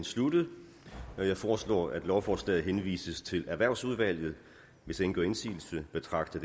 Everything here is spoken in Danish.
sluttet jeg foreslår at lovforslaget henvises til erhvervsudvalget hvis ingen gør indsigelse betragter